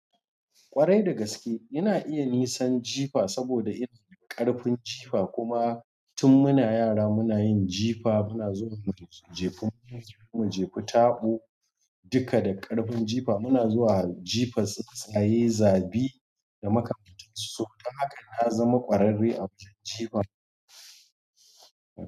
Kwarai da gaske ina iya nisan jifa saboda ina da ƙarfin jifa. Kuma tun muna yara muna yin jifa, muna zuwa muyi jifa, muna zuwa mu jefi taɓo. Duka da ƙarfin jifa muna zuwa jifa tsuntsaye zabi da makamantansu su. Don haka na zama ƙwararre a wurin jifa.